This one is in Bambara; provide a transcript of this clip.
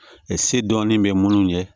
se dɔɔnin bɛ munnu ye